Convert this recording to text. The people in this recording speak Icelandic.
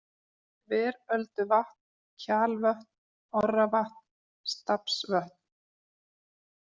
Þverölduvatn, Kjalvötn, Orravatn, Stafnsvötn